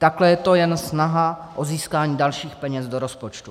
Takhle je to jen snaha o získání dalších peněz do rozpočtu.